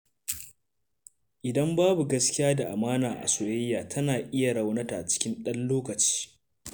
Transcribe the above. Idan babu gaskiya da amana a soyayya, tana iya raunta cikin ɗan lokaci.